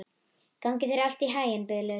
Gangi þér allt í haginn, Bylur.